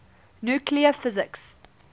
nuclear physics